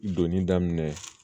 Doni daminɛ